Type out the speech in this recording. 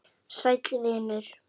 Sæll vinur